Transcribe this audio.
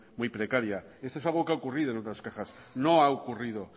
muy precaria esto es algo que ha ocurrido en otras cajas no ha ocurrido